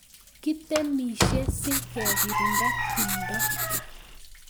Kitemishe si kekirinda timdo